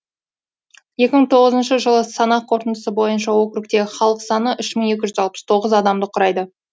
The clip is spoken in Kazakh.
екі мың тоғызыншы жылғы санақ қорытындысы бойынша округтегі халық саны үш мың екі жүз алпыс тоғыз адамды құрайды